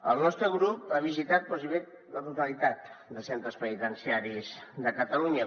el nostre grup ha visitat gairebé la totalitat dels centres penitenciaris de catalunya